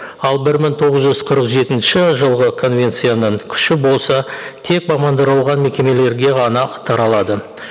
ал бір мың тоғыз жүз қырық жетінші жылғы конвенцияның күші болса тек мекемелерге ғана таралады